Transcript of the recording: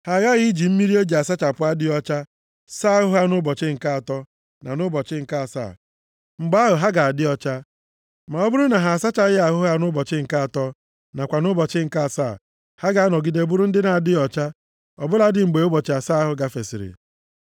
Ha aghaghị iji mmiri e ji asachapụ adịghị ọcha saa ahụ ha nʼụbọchị nke atọ na nʼụbọchị nke asaa. Mgbe ahụ, ha ga-adị ọcha. Ma ọ bụrụ na ha asaghị ahụ ha nʼụbọchị nke atọ nakwa nʼụbọchị nke asaa, ha ga-anọgide bụrụ ndị na-adịghị ọcha ọ bụladị mgbe ụbọchị asaa ahụ gafesịrị.